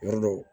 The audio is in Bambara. Yɔrɔ dɔw